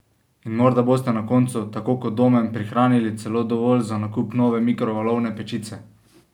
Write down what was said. In morda boste na koncu, tako kot Domen, prihranili celo dovolj za nakup nove mikrovalovne pečice!